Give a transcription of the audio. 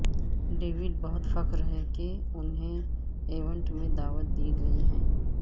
David بہت فخر ہے کہ انہیں ایونٹ میں دعوت دی گئی ہے